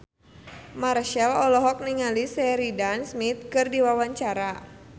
Marchell olohok ningali Sheridan Smith keur diwawancara